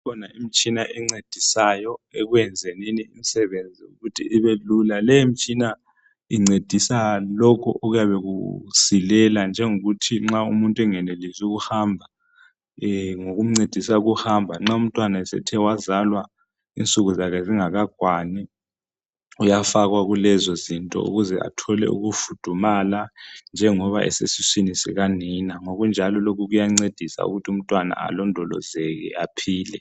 kukhona imtshina encedisayo ekwenzenini imisebenzi ukuthi ibe lula le mtshina incedisa lokhu okuyabe kusilela njengokuthi umuntu nxa engenelisi ukuhamba ngkumncedisa ukuhamba nxa umntwana esethe wazalwa insuku zakhe zingakakwani uyafakwa kulezozinto ukuze athole ukufudumala njengoba esesiswini sikanina ngokunjalo lokhu kuyancedisa ukuthi umntwana alondolozeke aphile